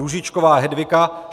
Růžičková Hedvika